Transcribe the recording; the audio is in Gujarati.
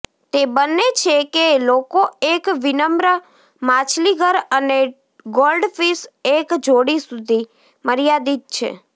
તે બને છે કે લોકો એક વિનમ્ર માછલીઘર અને ગોલ્ડફિશ એક જોડી સુધી મર્યાદિત છે